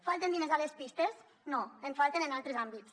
falten diners a les pistes no en falten en altres àmbits